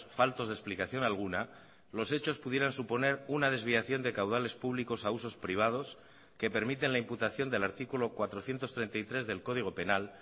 faltos de explicación alguna los hechos pudieran suponer una desviación de caudales públicos a usos privados que permiten la imputación del artículo cuatrocientos treinta y tres del código penal